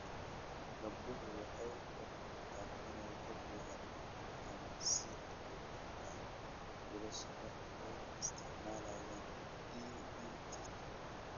Gabdhuhu waxay u muuqdaan inay ka fiican yihiin ama si la mid ah wiilasha marka ay isticmaalayaan EdTech.